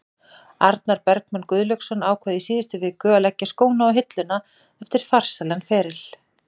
Arnar Bergmann Gunnlaugsson ákvað í síðustu viku að leggja skóna á hilluna eftir farsælan feril.